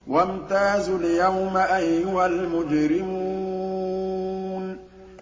وَامْتَازُوا الْيَوْمَ أَيُّهَا الْمُجْرِمُونَ